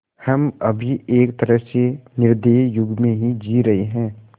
हम अभी एक तरह से निर्दयी युग में जी रहे हैं